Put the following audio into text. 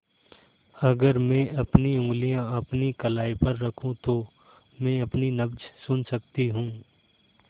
अगर मैं अपनी उंगलियाँ अपनी कलाई पर रखूँ तो मैं अपनी नब्ज़ सुन सकती हूँ